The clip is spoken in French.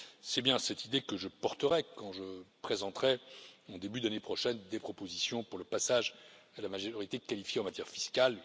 C'est bien cette idée que je porterai quand je présenterai en début d'année prochaine des propositions pour le passage à la majorité qualifiée en matière fiscale.